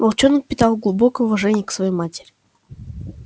волчонок питал глубокое уважение к своей матери